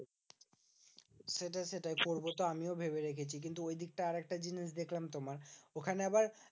সেটাই সেটাই করবো তো আমিও ভেবে রেখেছি। কিন্তু ঐদিকটায় আরেকটা জিনিস দেখলাম তোমার, ওখানে আবার